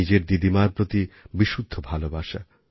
নিজের দিদিমার প্রতি বিশুদ্ধ ভালোবাসা